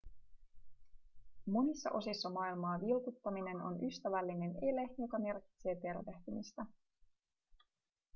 monissa osissa maailmaa vilkuttaminen on ystävällinen ele joka merkitsee tervehtimistä